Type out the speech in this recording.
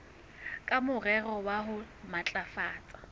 ka morero wa ho matlafatsa